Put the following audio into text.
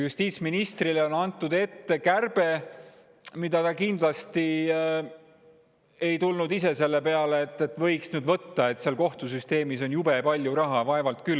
Justiitsministrile on antud ette kärpe, mille peale ta kindlasti ei tulnud ise, et seal kohtusüsteemis on jube palju raha, võiks nüüd sealt võtta.